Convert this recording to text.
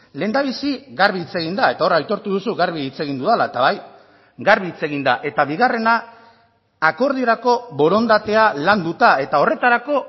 lehendabizi garbi hitz egin da eta hor aitortu duzu garbi hitz egin dudala eta bai garbi hitz egin da eta bigarrena akordiorako borondatea landuta eta horretarako